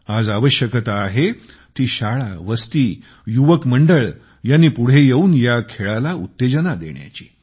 आज आवश्यकता आहे ती शाळा वस्ती युवक मंडळ यांनी पुढे येऊन ह्या खेळाला उत्तेजन देण्याची